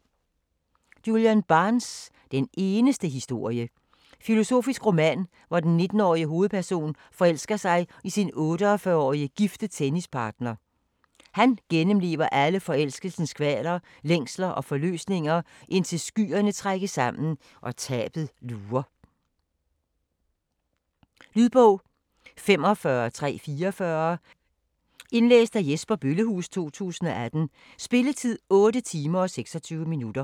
Barnes, Julian: Den eneste historie Filosofisk roman, hvor den 19-årige hovedperson forelsker sig i sin 48-årige gifte tennispartner. Han gennemlever alle forelskelsens kvaler, længsler og forløsninger, indtil skyerne trækkes sammen, og tabet lurer. Lydbog 45344 Indlæst af Jesper Bøllehuus, 2018. Spilletid: 8 timer, 26 minutter.